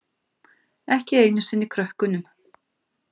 Ekki einu sinni krökkunum.